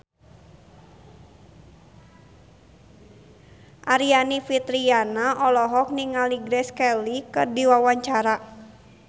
Aryani Fitriana olohok ningali Grace Kelly keur diwawancara